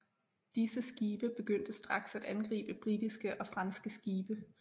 Disse skibe begyndte straks at angribe britiske og franske skibe